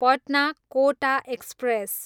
Patna, Kota express